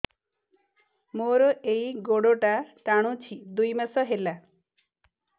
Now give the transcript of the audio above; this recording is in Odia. ମୋର ଏଇ ଗୋଡ଼ଟା ଟାଣୁଛି ଦୁଇ ମାସ ହେଲା